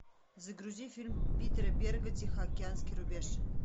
загрузи фильм питера берга тихоокеанский рубеж